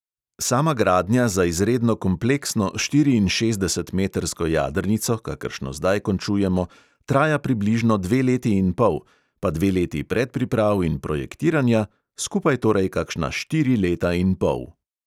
Sama gradnja za izredno kompleksno štiriinšestdesetmetrsko jadrnico, kakršno zdaj končujemo, traja približno dve leti in pol pa dve leti predpriprav in projektiranja, skupaj torej kakšna štiri leta in pol.